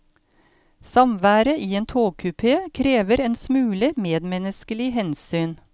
Samværet i en togkupe krever en smule medmennesklig hensyn.